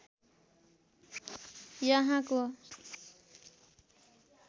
यहाँको